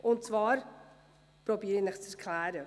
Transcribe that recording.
Ich werde es Ihnen zu erklären versuchen.